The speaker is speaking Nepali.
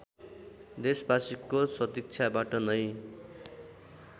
देशबासीको सदिच्छाबाट नै